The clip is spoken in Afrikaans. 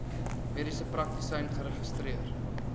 mediese praktisyn geregistreer